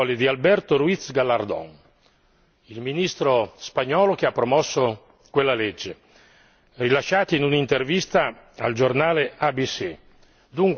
Sono le parole di Alberto Ruiz Gallardón, il Ministro spagnolo che ha promosso quella legge, rilasciate in un'intervista al giornale ABC.